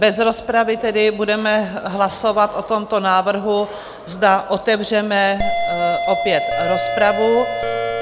Bez rozpravy tedy budeme hlasovat o tomto návrhu, zda otevřeme opět rozpravu.